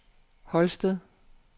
Holsted